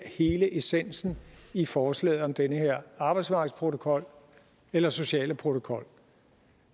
hele essensen i forslaget om den her arbejdsmarkedsprotokol eller sociale protokol